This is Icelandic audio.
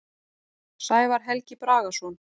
Sævar Helgi Bragason.